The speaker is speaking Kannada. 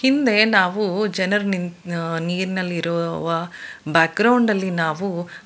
ಮುಂದೆ ನಾವು ಜನರ್ ನಿನ್ ನೀರ್ ಅಲ್ಲಿರುವ ಬ್ಯಾಕ್ಗ್ರೌಂಡ್ ಅಲ್ಲಿ ನಾವು --